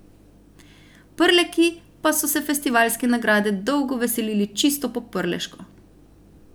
Prleki pa so se festivalske nagrade dolgo veselili čisto po prleško.